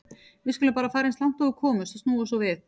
Við skulum bara fara eins langt og við komumst og snúa svo við.